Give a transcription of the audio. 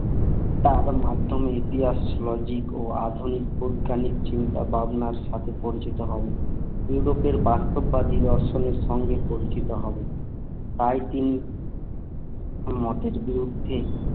তারা তো মাধমে এগিয়ে আসছিলো দিক ও আধুনিক পোধানিক চিন্তা ভাবনা সাথে পরিচিত হন তিনি তো ফের বাস্তববাদী দর্শনের সঙ্গে পরিচিত হন তাই তিনি মতের বিরুদ্ধে উর্ধে